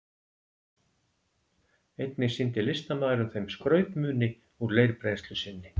Einnig sýndi listamaðurinn þeim skrautmuni úr leirbrennslu sinni.